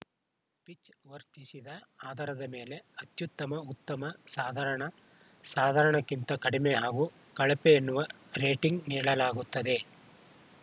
pitch ವರ್ತಿಸಿದ ಆಧಾರದ ಮೇಲೆ ಅತ್ಯುತ್ತಮ ಉತ್ತಮ ಸಾಧಾರಣ ಸಾಧಾರಣಕ್ಕಿಂತ ಕಡಿಮೆ ಹಾಗೂ ಕಳಪೆ ಎನ್ನುವ ರೇಟಿಂಗ್‌ ನೀಡಲಾಗುತ್ತದೆ